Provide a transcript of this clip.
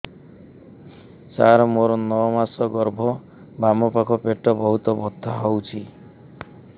ସାର ମୋର ନଅ ମାସ ଗର୍ଭ ବାମପାଖ ପେଟ ବହୁତ ବଥା ହଉଚି